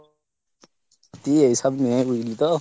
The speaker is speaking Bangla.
কি এইসব নিয়েই বুঝলি তো।